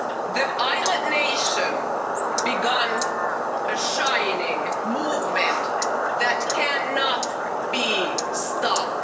The island nation began a shining movement that cannot be stopped.